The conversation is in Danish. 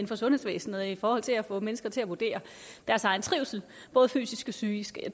for sundhedsvæsenet i forhold til få mennesker til at vurdere deres egen trivsel både fysisk og psykisk